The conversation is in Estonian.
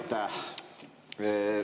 Aitäh!